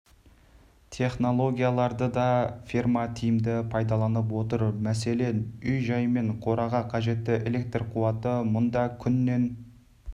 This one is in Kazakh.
технологияларды да ферма тиімді пайдаланып отыр мәселен үй-жай мен қораға қажетті электр қуаты мұнда күннен